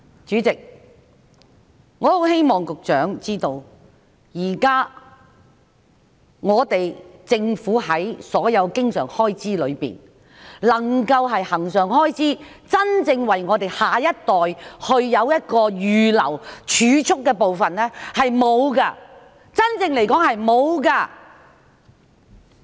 主席，我希望局長知道，在政府現時所有經常開支之中，並沒有任何恆常開支是真正為我們下一代預留作儲蓄的，嚴格來說並沒有。